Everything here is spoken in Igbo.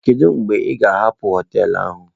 Kedu mgbe ị ga-hapụ hoteelu a?